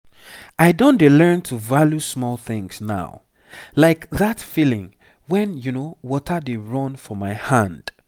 i don dey learn to value smal things now like that feeling when water dey run for my hand.